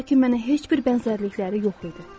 Lakin mənə heç bir bənzərlikləri yox idi.